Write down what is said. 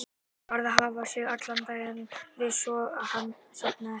Örn varð að hafa sig allan við svo að hann sofnaði ekki.